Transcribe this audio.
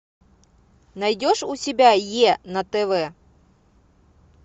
найдешь у себя е на тв